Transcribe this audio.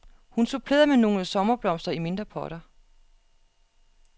Hun supplerede med nogle sommerblomster i mindre potter.